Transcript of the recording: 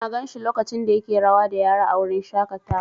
Na gan shi lokacin da yake rawa da yara a wurin shaƙatawa.